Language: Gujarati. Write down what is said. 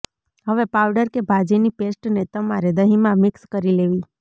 હવે પાઉડર કે ભાજી ની પેસ્ટ ને તમારે દહીં માં મિક્સ કરી લેવી